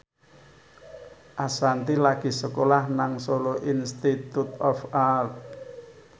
Ashanti lagi sekolah nang Solo Institute of Art